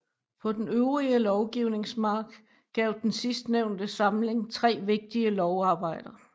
På den øvrige lovgivnings mark gav den sidstnævnte samling 3 vigtige lovarbejder